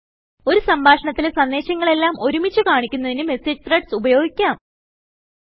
ഒരു സംഭാഷണത്തിലെ സന്ദേശങ്ങളെല്ലാം ഒരുമിച്ചു കാണിക്കുന്നതിന് മെസേജ് ത്രെഡ്സ് ഉപയോഗിക്കാം